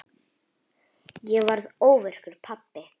Ég varð óvirkur pabbi.